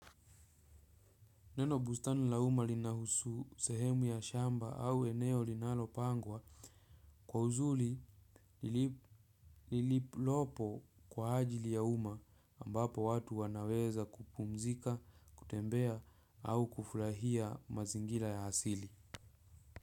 Neno bustani la uma lina husu sehemu ya shamba au eneo linalo pangwa kwa uzuri iliolopo kwa ajili ya uma ambapo watu wanaweza kupumzika, kutembea au kufurahia mazingira ya asili.